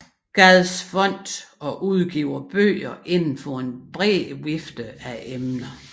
Gads Fond og udgiver bøger inden for en bred vifte af emner